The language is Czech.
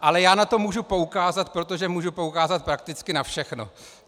Ale já na to můžu poukázat, protože můžu poukázat prakticky na všechno.